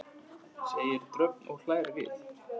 segir Dröfn og hlær við.